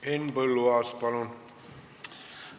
Henn Põlluaas, palun!